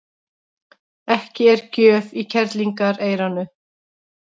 Ekki er gjöf í kerlingareyranu.